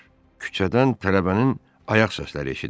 Küçədən tələbənin ayaq səsləri eşidildi.